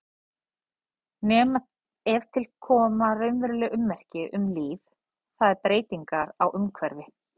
Nema ef til koma raunveruleg ummerki um líf, það er breytingar á umhverfi.